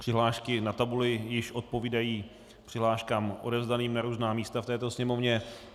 Přihlášky na tabuli již odpovídají přihláškám odevzdaným na různá místa v této sněmovně.